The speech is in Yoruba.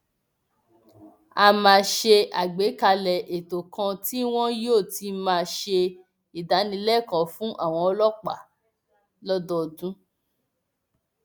a máa ṣe àgbàkalẹ ètò kan tí wọn yóò ti máa ṣe ìdánilẹkọọ fún àwọn ọlọpàá lọdọọdún